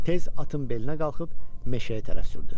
Tez atın belinə qalxıb meşəyə tərəf sürdü.